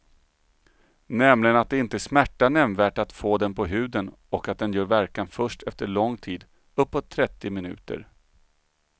Nämligen att det inte smärtar nämnvärt att få den på huden och att den gör verkan först efter lång tid, uppåt trettio minuter.